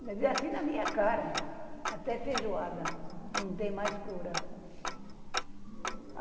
Ele disse assim na minha cara, até feijoada não tem mais cura.